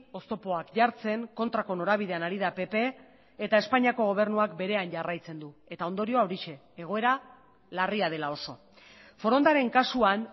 oztopoak jartzen kontrako norabidean ari da pp eta espainiako gobernuak berean jarraitzen du eta ondorioa horixe egoera larria dela oso forondaren kasuan